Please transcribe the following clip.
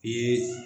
I ye